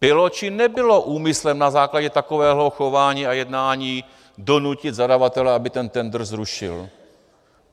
Bylo či nebylo úmyslem na základě takového chování a jednání donutit zadavatele, aby ten tendr zrušil?